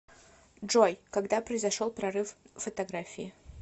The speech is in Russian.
джой когда произошел прорыв в фотографии